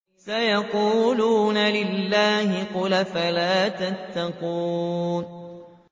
سَيَقُولُونَ لِلَّهِ ۚ قُلْ أَفَلَا تَتَّقُونَ